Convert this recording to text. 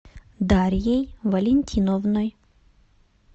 дарьей валентиновной